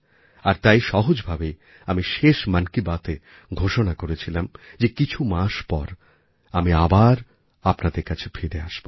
আর তাই সহজভাবেই আমিশেষ মন কি বাতএ ঘোষণা করেছিলাম যে কিছু মাস পর আমি আবার আপনাদের কাছে ফিরে আসব